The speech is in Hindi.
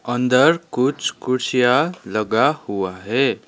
अंदर कुछ कुर्सियां लगा हुआ है।